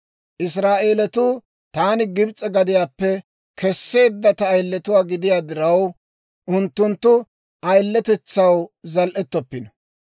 Israa'eelatuu taani Gibs'e gadiyaappe Kesseedda ta ayiletuwaa gidiyaa diraw, unttunttu ayiletetsaw zal"ettoppino.